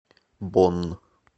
бонн